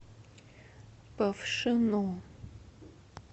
павшино